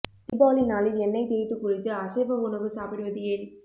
தீபாவளி நாளில் எண்ணெய் தேய்த்து குளித்து அசைவ உணவு சாப்பிடுவது ஏன்